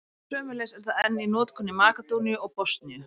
Sömuleiðis er það enn í notkun í Makedóníu og Bosníu.